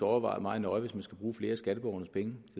overveje meget nøje hvis man skal bruge flere af skatteborgernes penge